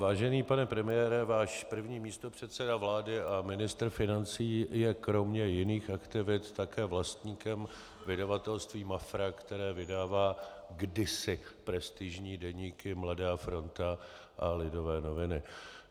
Vážený pane premiére, váš první místopředseda vlády a ministr financí je kromě jiných aktivit také vlastníkem vydavatelství Mafra, které vydává kdysi prestižní deníky Mladá fronta a Lidové noviny.